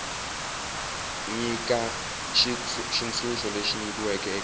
nyika xitshunxo lexi nyikiweke eka